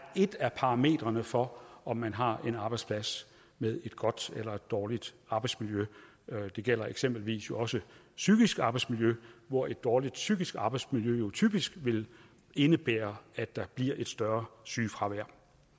et af parametrene for om man har en arbejdsplads med et godt eller et dårligt arbejdsmiljø det gælder jo eksempelvis også psykisk arbejdsmiljø hvor et dårligt psykisk arbejdsmiljø typisk vil indebære at der bliver et større sygefravær